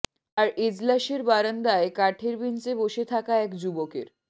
আর এজলাসের বারান্দায় কাঠের বেঞ্চে বসে থাকা এক যুবকের